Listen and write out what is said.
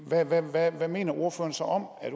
hvad mener ordføreren så om at